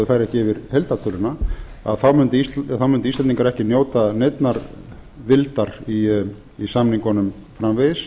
jafn vel þó þau færu ekki yfir heildartöluna þá mundu íslendingar ekki njóta neinnar vildar í samningunum framvegis